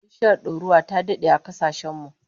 Biishiyar dorawa ta dade a kasashen mu